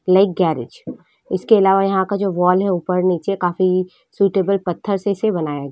ये एक गेराज इसके अलावा यहाँ का जो वाल है ऊपर निचे काफी सूटेबल पत्थर से इसे बनाया गया |